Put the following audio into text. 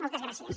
moltes gràcies